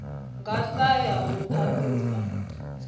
nga sa ya u ṱhaṱhuvha